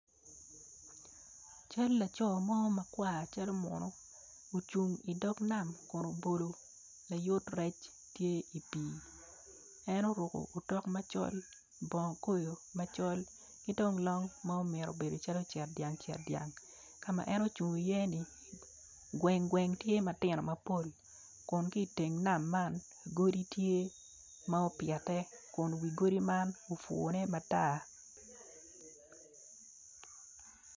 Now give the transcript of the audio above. Cal laco mo makar calo munu, ocung i dog nam kun obolo layot rec i pii, en oruku otok macol, bongo koyo macol, ki dong long mumito bedo cetdyang cetdyang ka ma en ocung iye ni, gweng gweng tye matino mapol tye iye matino mapol, kun ki iteng man godi tye ma opyete kun wi godi man obune matar.